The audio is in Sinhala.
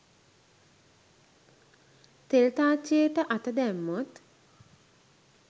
තෙල් තාච්චියට අත දැම්මොත්